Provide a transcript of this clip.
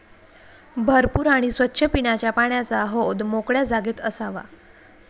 भरपूर आणि स्वच्छ पिण्याच्या पाण्याचा हौद मोकळ्या जागेत असावा.